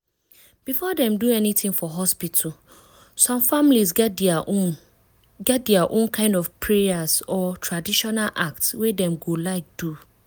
before dem do anything for hospital some families get dia own get dia own kind of prayers or traditional acts wey dem go like do.